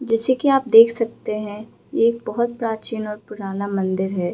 जैसे की आप देख सकते हैं ये एक बोहोत प्राचीन और पुराना मंदिर है।